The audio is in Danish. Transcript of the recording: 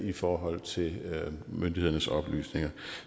i forhold til myndighedernes oplysninger